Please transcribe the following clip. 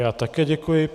Já také děkuji.